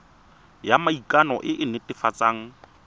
ya maikano e e netefatsang